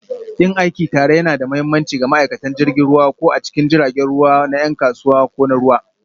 Yin aiki tare yana da mahimmanci ga ma'aikatan jirgin ruwa, ko a cikin jiragen ruwa na 'yan kasuwa ko na ruwa,